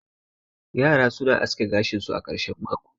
yara suna aske gashin su a karshen mako